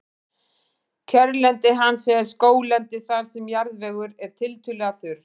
kjörlendi hans er skóglendi þar sem jarðvegur er tiltölulega þurr